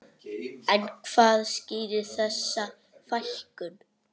En hvað skýrir þessa fækkun?